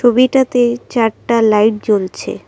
ছবিটাতে চারটা লাইট জ্বলছে ।